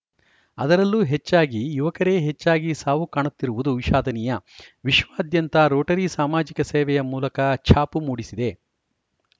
ಅದರಲ್ಲೂ ಹೆಚ್ಚಾಗಿ ಯುವಕರೇ ಹೆಚ್ಚಾಗಿ ಸಾವು ಕಾಣುತ್ತಿರುವುದು ವಿಷಾದನೀಯ ವಿಶ್ವಾದ್ಯಂತ ರೋಟರಿ ಸಾಮಾಜಿಕ ಸೇವೆಯ ಮೂಲಕ ಛಾಪು ಮೂಡಿಸಿದೆ